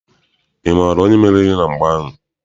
Ị maara onye meriri na mgba ahụ?